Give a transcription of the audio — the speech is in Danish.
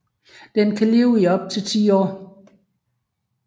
Den kan leve i op til 10 år